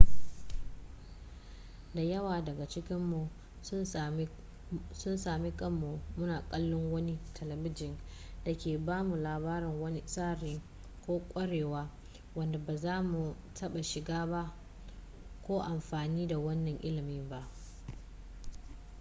da yawa daga cikinmu sun sami kanmu muna kallon wani talibijin da ke ba mu labarin wani tsari ko ƙwarewa wanda ba za mu taɓa shiga ko amfani da wannan ilimin ba